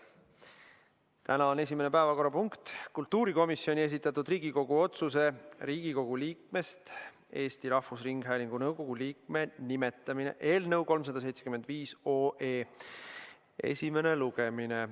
Tänane esimene päevakorrapunkt on kultuurikomisjoni esitatud Riigikogu otsuse "Riigikogu liikmest Eesti Rahvusringhäälingu nõukogu liikme nimetamine" eelnõu 375 esimene lugemine.